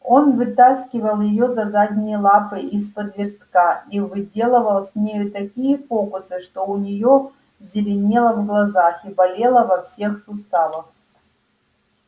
он вытаскивал её за задние лапы из-под верстака и выделывал с нею такие фокусы что у неё зеленело в глазах и болело во всех суставах